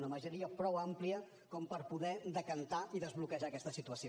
una majoria prou àmplia com per poder decantar i desbloquejar aquesta situació